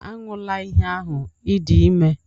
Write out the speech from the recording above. Aṅụla ihe ahụ!, ị dị ime